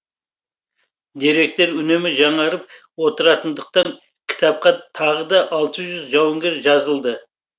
деректер үнемі жаңарып отыратындықтан кітапқа тағы да алты жүз жауынгер жазылды